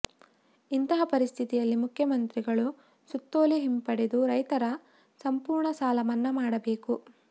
ಇಂತಹ ಪರಿಸ್ಥಿತಿಯಲ್ಲಿ ಮುಖ್ಯಮಂತ್ರಿಗಳು ಸುತ್ತೋಲೆ ಹಿಂಪಡೆದು ರೈತರ ಸಂಪೂರ್ಣ ಸಾಲ ಮನ್ನಾ ಮಾಡಬೇಕು